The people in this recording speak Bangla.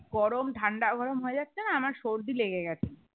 গরম ঠান্ডা গরম হয় যাচ্ছে না আমার সর্দি লেগে গেছে